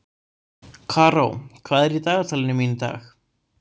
Karó, hvað er í dagatalinu mínu í dag?